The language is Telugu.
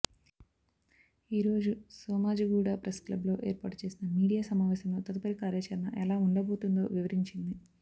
ఈరోజు సోమాజిగూడ ప్రెస్ క్లబ్ లో ఏర్పాటు చేసిన మీడియా సమావేశంలో తదుపరి కార్యాచరణ ఎలా ఉండబోతుందో వివరించింది